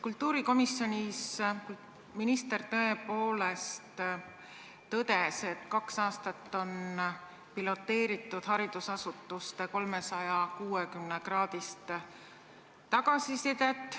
Kultuurikomisjonis minister tõepoolest tõdes, et kaks aastat on piloteeritud haridusasutuste 360-kraadist tagasisidet.